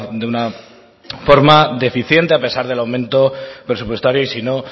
de una forma deficiente a pesar del aumento presupuestario y si no